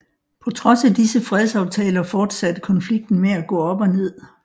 På trods af disse fredsaftaler fortsatte konflikten med at gå op og ned